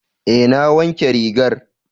Eh na wanke rigar.